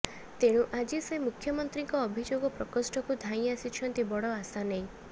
ତେଣୁ ଆଜି ସେ ମୁଖ୍ୟମନ୍ତ୍ରୀଙ୍କ ଅଭିଯୋଗ ପ୍ରକୋଷ୍ଠକୁ ଧାଇଁ ଆସିଛନ୍ତି ବଡ ଆଶା ନେଇ